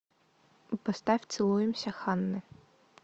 поставь целуемся ханны